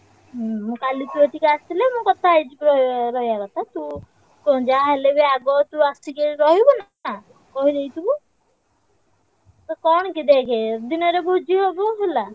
ହୁଁ କାଲି ତୁ ଏଠିକି ଆସିଲେ ମୁଁ କଥା ହେଇଯିବି ର~ ରହିଆ କଥା ତୁ ଶୁଣୁ ଯାହାହେଲେବି ଆଗ ତୁ ଆସିକି ଏଠି ରହିବୁନି ନା କହିଦେଇଥିବୁ। ଆଉ କଣ କି ଦେଖେ ଦିନରେ ଭୋଜି ହବ ହେଲା।